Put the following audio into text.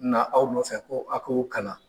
Na aw nɔfɛ, ko a k'o kalan.